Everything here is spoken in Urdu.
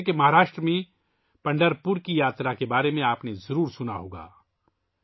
جیسے کہ مہاراشٹر میں پنڈھرپور کی یاترا کے بارے میں آپ نے ضرور سنا ہوگا